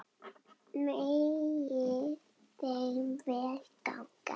Megi þeim vel ganga.